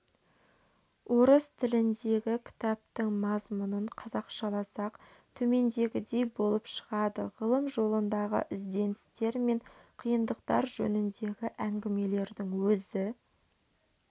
орыс тіліндегі кітаптың мазмұнын қазақшаласақ төмендегідей болып шығады ғылым жолындағы ізденістер мен қиындықтар жөніндегі әңгімелердің өзі